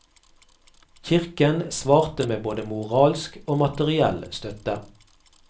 Kirken svarte med både moralsk og materiell støtte.